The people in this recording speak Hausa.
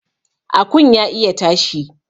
Akun ya iya tashi